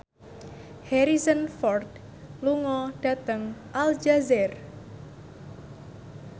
Harrison Ford lunga dhateng Aljazair